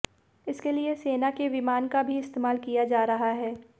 इसके लिए सेना के विमान का भी इस्तेमाल किया जा रहा है